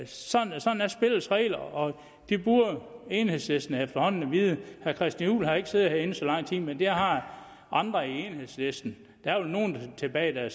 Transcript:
sådan er spillets regler og det burde enhedslisten efterhånden vide herre christian juhl har ikke siddet herinde så lang tid men det har andre i enhedslisten der er vel nogen tilbage der